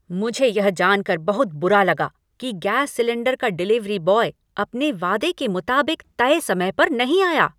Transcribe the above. मुझे यह जान कर बहुत बुरा लगा कि गैस सिलेंडर का डिलीवरी बॉय अपने वादे के मुताबिक तय समय पर नहीं आया।